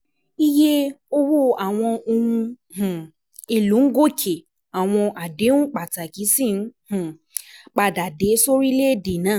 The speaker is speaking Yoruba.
Iye owó àwọn ohun um èlò ń gòkè, àwọn àdéhùn pàtàkì sì ń um padà dé sórílẹ̀-èdè náà.